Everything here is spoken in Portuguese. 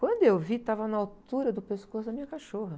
Quando eu vi, estava na altura do pescoço da minha cachorra.